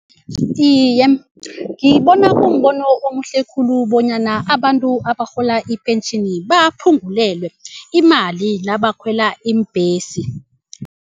Iye, ngibona kumbono omuhle khulu bonyana abantu abarhola ipentjhini baphungulelwe imali nabakhwela iimbhesi.